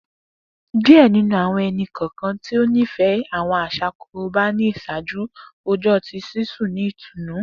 Diẹ ninu awọn ẹni-kọọkan ti o nifẹ awọn aṣa Koroba ni iṣaaju rojọ ti sisun ni itunu